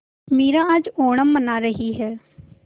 मीरा आज ओणम मना रही है